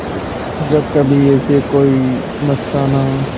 जब कभी ऐसे कोई मस्ताना